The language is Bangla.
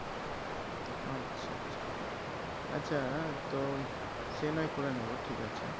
আচ্ছা আচ্ছা আচ্ছা তো সে না হয় করে নেবো ঠিক আছে